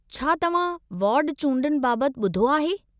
छा तव्हां वार्ड चूंडुनि बाबतु ॿुधो आहे?